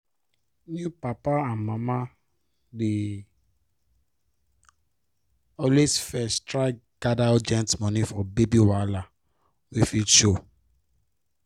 new papa and mama dey always first try gather urgent moni for baby wahala wey fit show